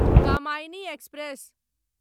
Kamayani express